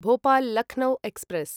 Bhopal Lucknow express